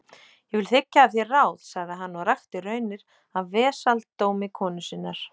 Ég vil þiggja af þér ráð, sagði hann, og rakti raunir af vesaldómi konu sinnar.